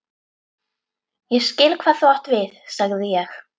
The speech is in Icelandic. Ég skil, hvað þú átt við sagði ég.